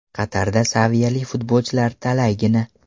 Qatarda saviyali futbolchilar talaygina.